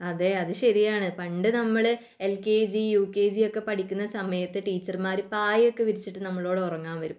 അതെ അത് ശരിയാണ് പണ്ട് നമ്മൾ L K G , U K G ഒകെ പഠിക്കുന്ന സമയത്തു ടീച്ചർമാർ നമ്മളെ പായ ഒക്കെ വിരിച്ചിട്ടു നമ്മളോട് ഉറങ്ങാൻ പറയും